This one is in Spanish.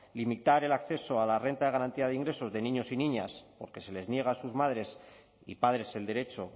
limitar el acceso a la renta de garantía de ingresos de niños y niñas porque se les niega a sus madres y padres el derecho